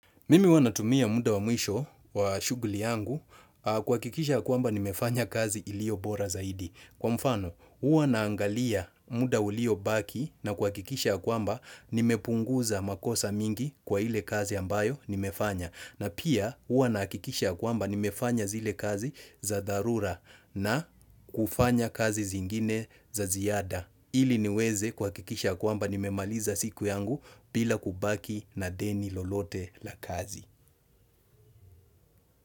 Mimi uwa natumia muda wa mwisho wa shuguli yangu kuakikisha kwamba nimefanya kazi ilio bora zaidi. Kwa mfano, uwa naangalia muda ulio baki na kwa kikisha kwamba nimepunguza makosa mingi kwa ile kazi ambayo nimefanya. Na pia, uwa na kikisha kwamba nimefanya zile kazi za dharura na kufanya kazi zingine za ziyada. Ili niweze kuakikisha kwamba nimemaliza siku yangu bila kubaki na deni lolote la kazi.